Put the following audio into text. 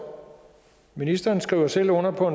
ministeren skriver selv under på